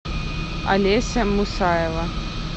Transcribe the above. олеся мусаева